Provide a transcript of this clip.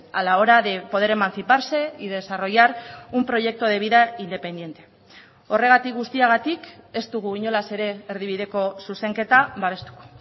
a la hora de poder emanciparse y desarrollar un proyecto de vida independiente horregatik guztiagatik ez dugu inolaz ere erdibideko zuzenketa babestuko